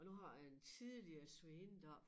Og nu har jeg en tidligere svigerinde deroppe